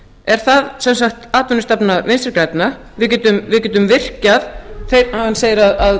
er það sem sagt atvinnustefna vinstri grænna hann segir að